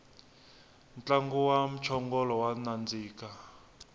ntlangu wa mchongolo wa nandika